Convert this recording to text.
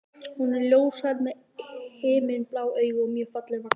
Hún er ljóshærð með himinblá augu og mjög fallega vaxin.